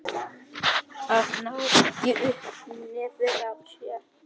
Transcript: Að ná ekki upp í nefið á sér